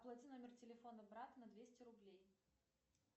оплати номер телефона брата на двести рублей